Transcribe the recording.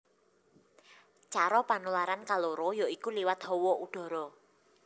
Cara panularan kaloro ya iku liwat hawa udhara